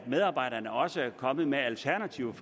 medarbejderne også er kommet med alternative